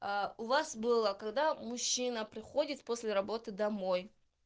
а у вас было когда мужчина приходит после работы домой